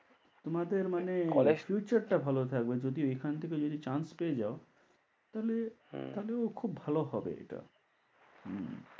তোমাদের মানে future টা ভালো থাকবে যদি এখান থেকে যদি chance পেয়ে যাও তাহলে তাহলেও খুব ভালো হবে এটা।